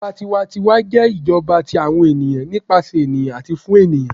ìjọba tiwa-ń-tiwa jẹ ijọba ti àwọn ènìyàn, nípasẹ ènìyàn ati fun ènìyàn.